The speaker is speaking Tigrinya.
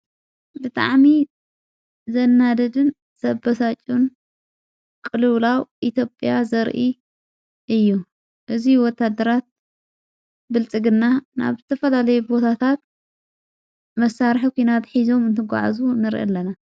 ብጥዓሚ ዘናደድን ዘበሳጹን ቅልላው ኢቶጴያ ዘርኢ እዩ እዙይ ወታ ኣደራት ብልጽግና ናብ ቲ ፈላለየ ቦታታት መሳርሕ ዂናት ኂዞም እንተጐዕዙ ንርኢ ኣለና::